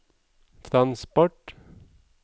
transport